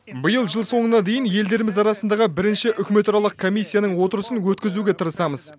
биыл жыл соңына дейін елдеріміз арасындағы бірінші үкіметаралық комиссияның отырысын өткізуге тырысамыз